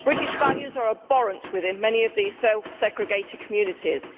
British values are abhorrent within many of these self segregated communities.